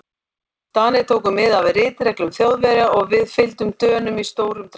Danir tóku mið af ritreglum Þjóðverja og við fylgdum Dönum í stórum dráttum.